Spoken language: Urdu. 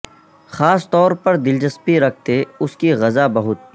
خاص طور پر دلچسپی رکھتے اس کی غذا بہت